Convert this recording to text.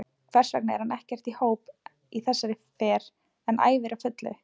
Hversvegna er hann ekkert í hóp í þessari fer en æfir á fullu?